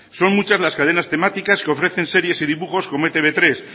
son muchas las cadenas temáticas que ofrecen series y dibujos como etb hiru